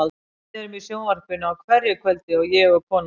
Við erum í sjónvarpinu á hverju kvöldi, ég og konan mín.